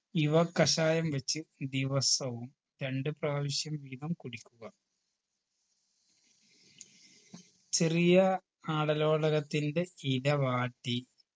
ഇവ കഷായം വെച്ച് ദിവസവും രണ്ട്‌ പ്രാവിശ്യം വീതം കുടിക്കുക ചെറിയ ആടലോടകത്തിൻറെ ഇല വാട്ടി